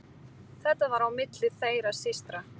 Þetta var á milli þeirra systra.